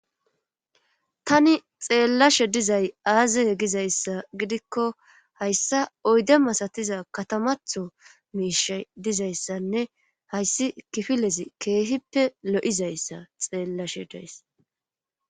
tani xeellashe dizay aaze gizayssa gidikko hayssa oyde masatiza katamatho miishay dizayssanne hayssi kifilezi keehippe lo7izayssa xeellashe dees